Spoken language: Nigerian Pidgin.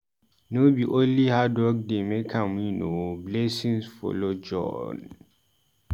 No be only hard work dey make am win o, blessing follow join.